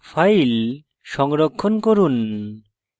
file সংরক্ষণ করুন